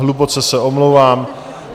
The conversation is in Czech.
Hluboce se omlouvám.